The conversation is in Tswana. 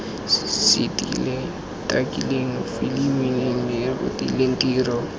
setileng takileng filimileng rekotileng tiro